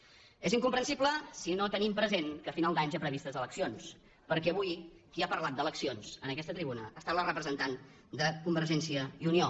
és incomprensible si no tenim present que a finals d’any hi ha previstes eleccions perquè avui qui ha parlat d’eleccions en aquesta tribuna ha estat la representant de convergència i unió